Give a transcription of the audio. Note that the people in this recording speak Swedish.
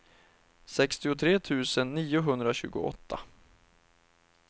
sextiotre tusen niohundratjugoåtta